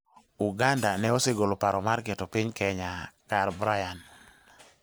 Uganda ne osegolo paro mar keto piny Kenya kar Brian.